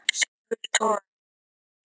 Silfurtorgi